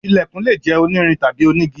Ilẹ̀kùn lè jẹ́ onírin tàbí onígi.